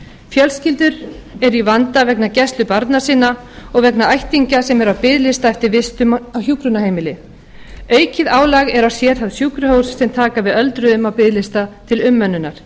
fjölskyldur eru í vanda vegna gæslu barna sinna og vegna ættingja sem eru á biðlista eftir vistun á hjúkrunarheimili aukið álag er á sérhæfð sjúkrahús sem taka við öldruðum af biðlista til umönnunar